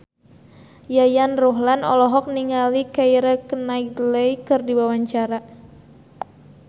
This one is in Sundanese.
Yayan Ruhlan olohok ningali Keira Knightley keur diwawancara